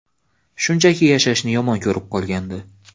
Shunchaki yashashni yomon ko‘rib qolgandi.